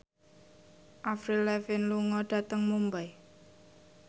Avril Lavigne lunga dhateng Mumbai